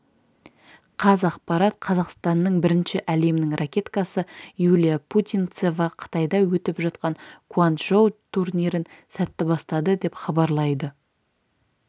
қазақпарат қазақстанның бірінші әлемнің ракеткасы юлия путинцева қытайда өтіп жатқан гуанчжоу турнирін сәтті бастады деп хабарлайды